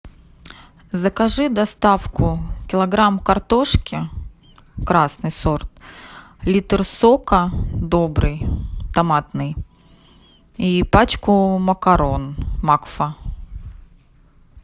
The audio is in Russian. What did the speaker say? закажи доставку килограмм картошки красный сорт литр сока добрый томатный и пачку макарон макфа